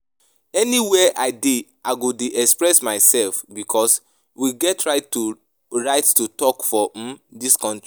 Anywhere I dey I go dey express myself because we get right to right to talk for um dis country